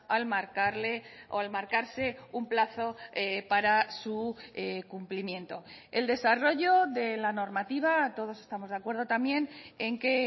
al marcarle o al marcarse un plazo para su cumplimiento el desarrollo de la normativa todos estamos de acuerdo también en que